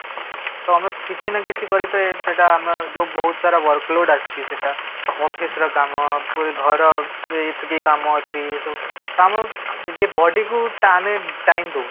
ତ ଆମକୁ କିଛି ନା କିଛି କରି ତେ ସେଟା ଆମେ ଯୋଉ ବହୁତ ସାରା workload ଆସୁଛି ସେଟା ଅଫିସ ର କାମ ଘର ର ଏତିକି କାମ ଅଛି ଏଇ ସବୁ ତ ଆମ ଇଏ body କୁ ଆମେ time ଦଉନେ